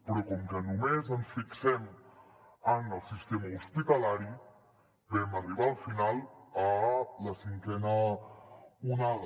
però com que només ens fixem en el sistema hospitalari vam arribar al final a la cinquena onada